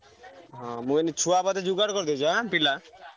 ହଁ ମୁଁ କହିଲି ଛୁଆ ବୋଧେ ଯୋଗାଡ଼ କରିଦେଇଛ ଆଁ ପିଲା?